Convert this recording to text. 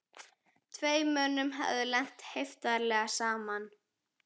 Tveim mönnum hafði lent heiftarlega saman.